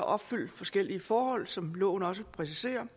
opfyldt forskellige forhold som loven også præciserer